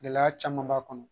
Gɛlɛya caman b'a kɔnɔ